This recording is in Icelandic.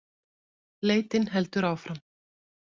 Leitin heldur áfram